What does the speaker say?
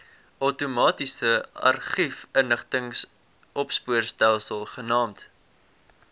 outomatiese argiefinligtingsopspoorstelsel genaamd